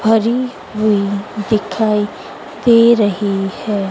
भरी हुई है दिखाई दे रही है।